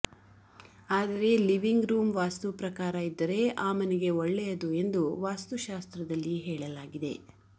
ಆದರೆ living room vastu ಪ್ರಕಾರ ಇದ್ದರೆ ಆ ಮನೆಗೆ ಒಳ್ಳೆಯದು ಎಂದು ವಾಸ್ತು ಶಾಸ್ತ್ರದಲ್ಲಿ ಹೇಳಲಾಗಿದೆ